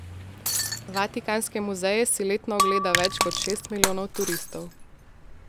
Vatikanske muzeje si letno ogleda več kot šest milijonov turistov.